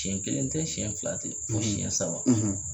Siɲɛ kelen tɛ siɲɛ fila tɛ siɲɛ saba tɛ.